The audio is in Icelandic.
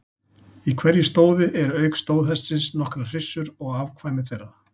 Í hverju stóði eru auk stóðhestsins nokkrar hryssur og afkvæmi þeirra.